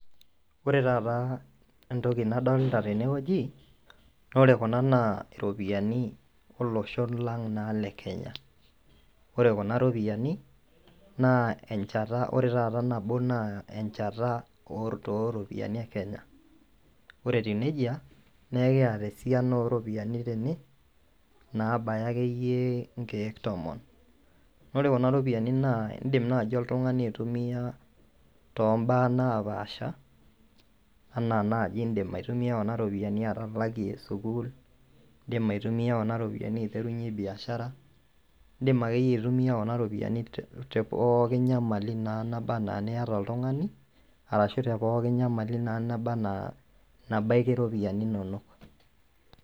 Ore taata entoki nadolta tenewueji, naa ore kuna naa iropiyiani olosho lang' naa le kenya ore kuna ropiyiani naa enchata ore taata nabo naa enchata oro oropiyiani e kenya ore etiu nejia naa ekiyata esiana oropiani tene nabaya akeyie inkeek tomon. nore kuna ropiyiani naa indim naaji oltung'ani aitumiyia tombaa napaasha anaa naaji indim aitumiyia kuna ropiani atalakie sukuul indim aitumiyia kuna ropiani aiterunyie biashara indim akeyie aitumia kuna ropiyiani te pooki nyamali naba anaa eniyata oltung'ani arashu tepooki nyamali naa naba ana nabaiki iropiyiani inonok.